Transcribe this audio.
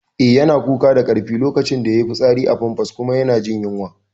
Eh, yana kuka da karfi lokacin da yayi fitsari a famfas kuma yana jin yunwa